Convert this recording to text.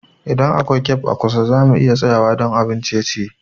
Idan akwai cafe a kusa, za mu iya tsayawa don abun ciye-ciye.